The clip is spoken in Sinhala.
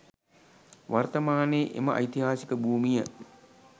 වර්තමානයේ එම ඓතිහාසික භූමිය